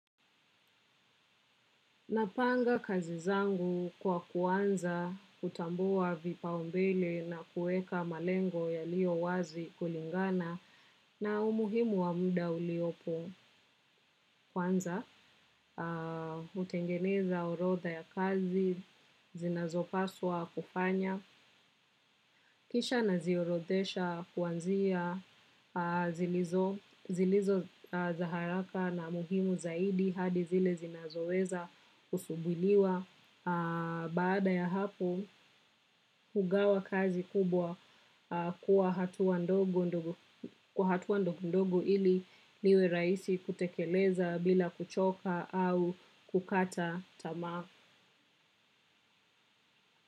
Napanga kazi zangu kwa kuanza kutambua vipaumbele na kuweka malengo yaliyo wazi kulingana na umuhimu wa muda uliopo kwanza. Hutengeneza orotha ya kazi, zinazopaswa kufanya kisha naziorothesha kuanzia zilizo za haraka na muhimu zaidi hadi zile zinazoweza kusubiriwa. Baada ya hapo, hugawa kazi kubwa kuwa hatua ndogo kwa hatua ndogondogo ili liwe rahisi kutekeleza bila kuchoka au kukata tamaa.